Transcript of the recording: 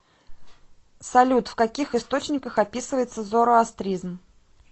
салют в каких источниках описывается зороастризм